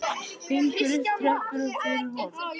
Gengur upp tröppur og fyrir horn.